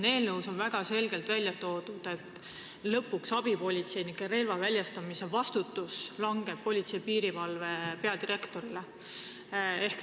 Eelnõus on väga selgelt välja toodud, et lõpuks vastutab abipolitseinikele relva väljastamise eest Politsei- ja Piirivalveameti peadirektor.